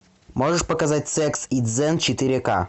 можешь показать секс и дзен четыре к